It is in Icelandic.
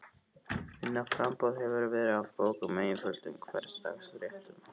Minna framboð hefur verið af bókum með einföldum hversdagsréttum.